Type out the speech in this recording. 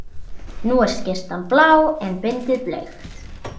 Nú er skyrtan blá en bindið bleikt.